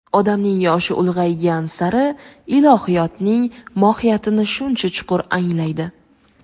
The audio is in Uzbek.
Odamning yoshi ulg‘aygan sari ilohiyotning mohiyatini shuncha chuqur anglaydi.